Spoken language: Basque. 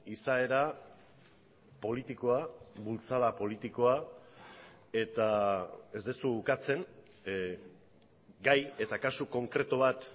izaera politikoa bultzada politikoa eta ez duzu ukatzen gai eta kasu konkretu bat